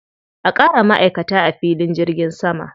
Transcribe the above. A ƙara ma'aikata a filin jirgin sama.